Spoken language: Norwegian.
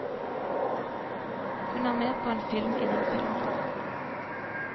Hun er med på en film innen filmen.